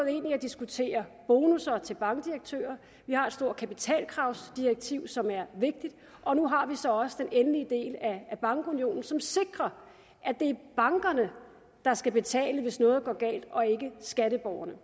ind i at diskutere bonusser til bankdirektører vi har et stort kapitalkravsdirektiv som er vigtigt og nu har vi så også den endelige del af bankunionen som sikrer at det er bankerne der skal betale hvis noget går galt og ikke skatteborgerne